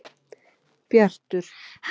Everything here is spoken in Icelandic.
Bjartur